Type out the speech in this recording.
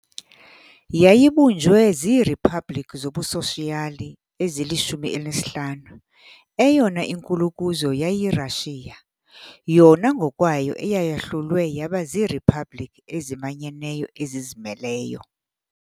Yayibunjwe ziiriphabliki zobusoshiyali ezili-15, eyona inkulu kuzo yayiyiRashiya, yona ngokwayo eyayahlulwe yaba ziiriphabliki ezimanyeneyo ezizimeleyo.